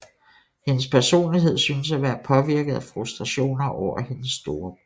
Hendes personlighed synes at være påvirket af frustrationer over hendes storebror